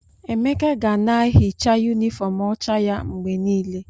Emeka ga na-ehicha yunifọọm ọcha ya mgbe niile.